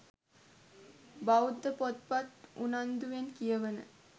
බෞද්ධ පොත්පත් උනන්දුවෙන් කියවන